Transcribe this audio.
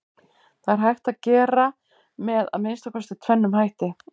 Það er hægt að gera með að minnsta kosti tvennum hætti.